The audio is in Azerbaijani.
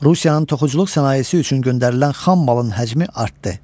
Rusiyanın toxuculuq sənayesi üçün göndərilən xam malın həcmi artdı.